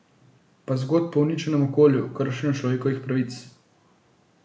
Pa zgodb o uničenem okolju, kršenju človekovih pravic.